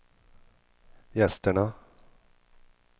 gästerna